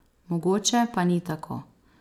Mogoče pa ni tako.